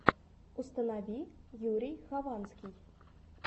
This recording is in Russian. установи юрий хованский